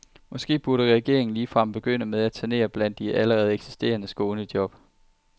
Måske burde regeringen ligefrem begynde med at sanere blandt de allerede eksisterende skånejob.